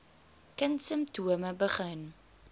kind simptome begin